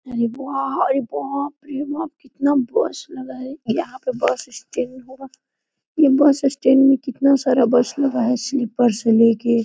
अरे वाह! अरे बाप रे बाप! कितना बस लगा है यहाँ पे बस स्टैंड होगा ये बस स्टैंड में कितना सारा बस लगा है स्लीपर से लेके --